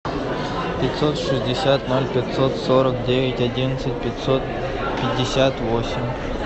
пятьсот шестьдесят ноль пятьсот сорок девять одиннадцать пятьсот пятьдесят восемь